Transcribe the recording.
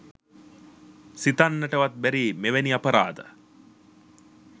සිතන්නටවත් බැරි මෙවැනි අපරාධ